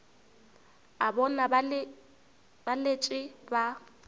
a bona ba letše ba